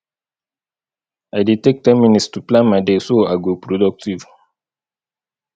i dey take ten minutes to plan my day so i go productive